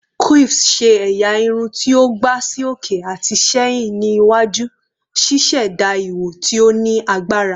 Quiffs ṣe ẹya irun ti o gba si oke ati sẹhin ni iwaju, ṣiṣẹda iwo ti o ni agbara